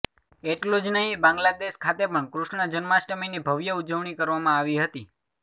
એટલું જ નહીં બાંગ્લાદેશ ખાતે પણ કૃષ્ણ જન્માષ્ઠમીની ભવ્ય ઉજવણી કરવામાં આવી હતી